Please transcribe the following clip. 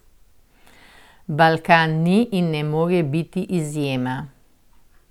Balkan ni in ne more biti izjema.